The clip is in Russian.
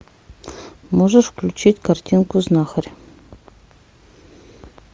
можешь включить картинку знахарь